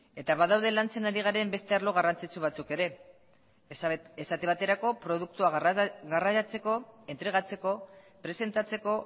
eta badaude lantzen ari garen beste arlo garrantzitsu batzuk ere esate baterako produktua garraiatzeko entregatzeko presentatzeko